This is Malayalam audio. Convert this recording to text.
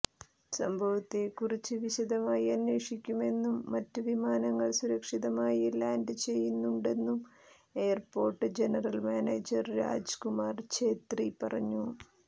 സംഭവത്തേക്കുറിച്ച് വിശദമായി അന്വേഷിക്കുമെന്നും മറ്റ് വിമാനങ്ങൾ സുരക്ഷിതമായി ലാൻഡ് ചെയ്യുന്നുണ്ടെന്നും airport general manager Raj Kumar Chhetri പറഞ്ഞു